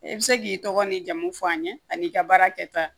I bɛ se k'i tɔgɔ ni jamu fɔ an ye ani i ka baara kɛta